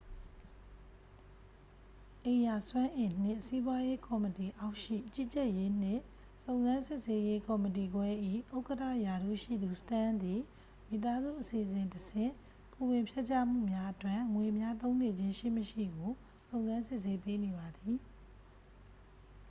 အိမ်ရာစွမ်းအင်နှင့် စီးပွားရေး ကော်မတီအောက်ရှိ ကြီးကြပ်ရေးနှင့် စုံစမ်းစစ်ဆေးရေး ကော်မတီခွဲ၏ ဥက္ကဌ ရာထူးရှိသူ စတန်းသည် မိသားစုအစီအစဉ်တဆင့် ကိုယ်ဝန်ဖျက်ချမှုများအတွက် ငွေများ သုံးနေခြင်း ရှိမရှိကို စုံစမ်းစစ်ဆေးပေးနေပါသည်